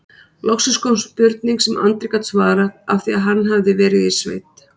Loksins kom spurning sem Andri gat svarað af því hann hafði verið í sveit